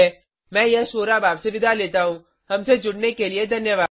मैं यश वोरा आपसे विदा लेता हूँहमसे जुड़ने के लिए धन्यवाद